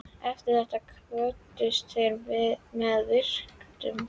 Eftir þetta kvöddust þeir með virktum.